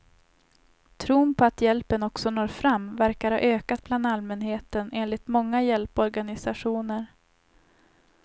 Tron på att hjälpen också når fram verkar ha ökat bland allmänheten, enligt många hjälporganiationer.